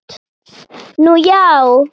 Nú já.